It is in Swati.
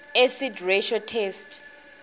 acid ratio test